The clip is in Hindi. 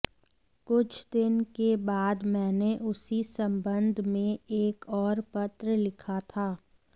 कुछ दिन के बाद मैंने उसी संबंध में एक और पत्र लिखा था